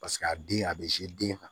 Paseke a den a bɛ den kan